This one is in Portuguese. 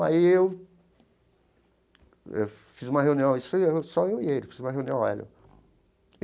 Aí eu eu fiz uma reunião, só eu só eu e ele, fiz uma reunião Hélio.